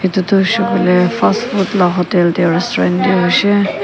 edu tu hoishey koilae fastfood la hotel tae restaurant tae hoishey.